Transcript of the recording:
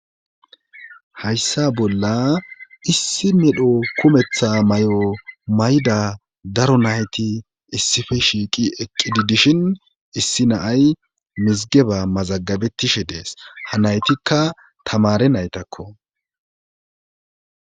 hayssa bolla issi medho kumetha may7o mayda daro nayti issife shiiqi eqqidi dishin issi naay mizigeba mazagabetishe dees ha naytikka tamare naytakko